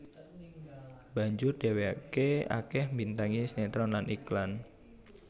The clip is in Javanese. Banjur dheweke akeh mbintangi sinetron lan iklan